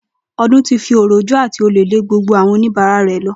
O̩dún ti fi òròjú àti ò̩le̩ lé gbogbo àwo̩n oníbàárà re̩ lo̩